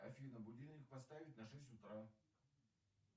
афина будильник поставить на шесть утра